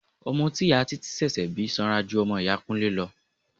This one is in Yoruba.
Ọmọ tí ìyá títí ṣẹ̀ṣẹ̀ bí sanra ju ọmọ iya Kúnlé lọ.